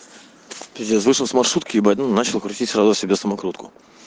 пиздец вышел с маршрутки ебать ну начал крутить сразу себе самокрутку